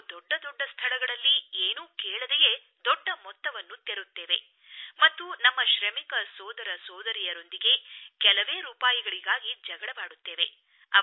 ನಾವು ದೊಡ್ಡದೊಡ್ಡ ಸ್ಥಳಗಳಲ್ಲಿ ಏನೂ ಕೇಳದೆಯೇ ದೊಡ್ಡ ಮೊತ್ತವನ್ನು ತೆರುತ್ತೇವೆ ಮತ್ತು ನಮ್ಮ ಶ್ರಮಿಕ ಸೋದರ ಸೋದರಿಯರೊಂದಿಗೆ ಕೆಲವೇ ರೂಪಾಯಿಗಳಿಗಾಗಿ ಜಗಳವಾಡುತ್ತೇವೆ